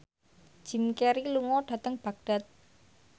Jim Carey lunga dhateng Baghdad